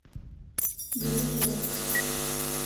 галилео